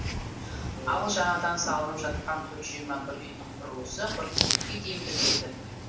ал жаңадан салынып жатқан төрт жүз жиырма бір үйдің құрылысы қыркүйекке дейін бітеді